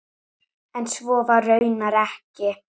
En svo var raunar ekki.